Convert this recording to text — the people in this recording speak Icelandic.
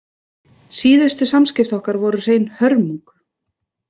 Síðustu samskipti okkar voru hrein hörmung.